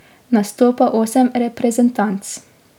Nastopa osem reprezentanc.